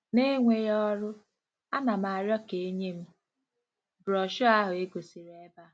N'enweghị ọrụ, ana m arịọ ka e nye m broshọ ahụ e gosiri ebe a.